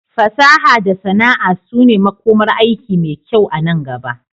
Fasaha da sana'a su ne makomar aiki mai kyau anan gaba.